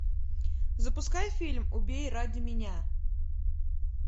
запускай фильм убей ради меня